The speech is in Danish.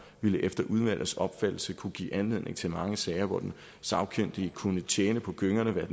ville efter udvalgets opfattelse kunne give anledning til mange sager hvor den sagkyndige kunne tjene på gyngerne hvad